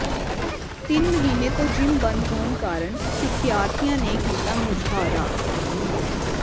ਤਿੰਨ ਮਹੀਨੇ ਤੋਂ ਜਿੰਮ ਬੰਦ ਹੋਣ ਕਾਰਨ ਸਿਖਿਆਰਥੀਆਂ ਨੇ ਕੀਤਾ ਮੁਜ਼ਾਹਰਾ